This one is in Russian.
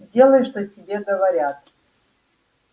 делай что тебе говорят